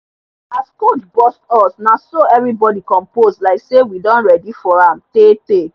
as coach bust us na so everybody compose like say we don ready for am tey tey